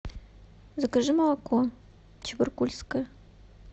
закажи молоко чебаркульское